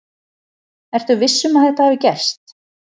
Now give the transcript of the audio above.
Ertu viss um að þetta hafi gerst?